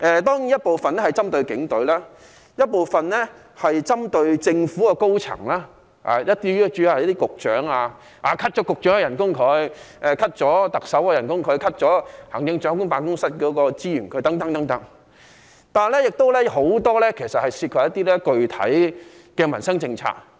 當然，有部分修正案是針對警隊，有部分是針對政府高層，主要是局長，如削減局長薪酬、削減特首薪酬、削減行政長官辦公室資源等，但亦有很多涉及具體的民生政策。